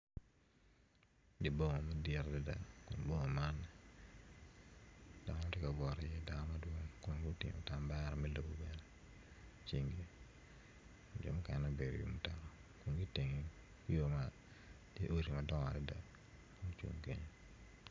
di boma madit adida di bomo man dano ti kawot iye dano madwong kun gutingo tambera me lobo bene icingi jo mukene obedi i wi mutoka kun iteng yo man ti odi madongo adida mucung kenyo